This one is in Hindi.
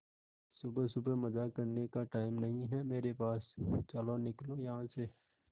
सुबह सुबह मजाक करने का टाइम नहीं है मेरे पास चलो निकलो यहां से